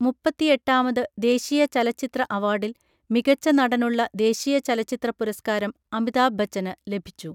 മുപ്പത്തിഎട്ടാമത് ദേശീയ ചലച്ചിത്ര അവാർഡിൽ മികച്ച നടനുള്ള ദേശീയ ചലച്ചിത്ര പുരസ്കാരം അമിതാഭ് ബച്ചന് ലഭിച്ചു.